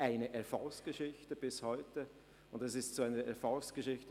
Das Projekt gilt bis heute als Erfolgsgeschichte.